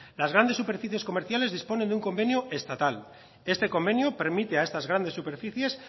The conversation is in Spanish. las grandes superficies comerciales disponen de un convenio estatal este convenio permite a estas grandes superficies